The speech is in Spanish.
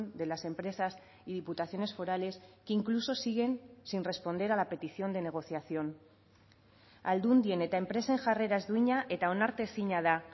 de las empresas y diputaciones forales que incluso siguen sin responder a la petición de negociación aldundien eta enpresen jarrera ez duina eta onartezina da